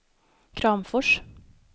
Kramfors